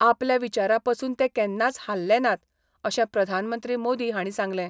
आपल्या विचारां पसून ते केन्नाच हाल्ले नात अशें प्रधानमंत्री मोदी हांणी सांगलें.